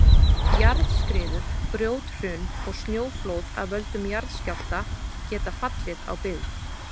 Jarðskriður, grjóthrun og snjóflóð af völdum jarðskjálfta geta fallið á byggð.